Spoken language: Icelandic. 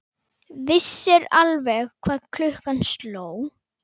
Vissir alveg hvað klukkan sló!